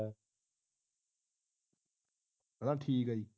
ਠੀਕ ਆ ਜੀ